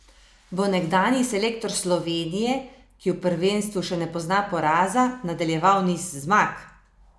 Bo nekdanji selektor Slovenije, ki v prvenstvu še ne pozna poraza, nadaljeval niz zmag?